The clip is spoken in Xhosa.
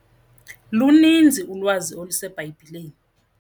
Luninzi ulwazi oluseBhayibhileni.